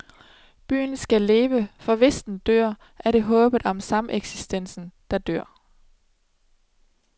Byen skal leve, for hvis den dør, er det håbet om sameksistens, der dør.